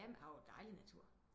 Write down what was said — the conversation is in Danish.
Ja men her er jo dejlig natur